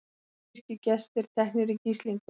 Kirkjugestir teknir í gíslingu